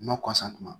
Ma kɔsa tuma